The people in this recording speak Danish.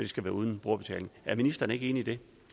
skal være uden brugerbetaling er ministeren ikke enig